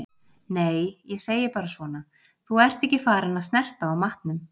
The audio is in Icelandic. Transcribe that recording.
Nei, ég segi bara svona. þú ert ekki farin að snerta á matnum.